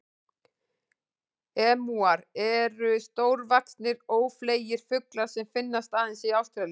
Emúar eru stórvaxnir, ófleygir fuglar sem finnast aðeins í Ástralíu.